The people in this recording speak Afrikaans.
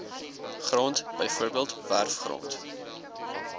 grond bv werfgrond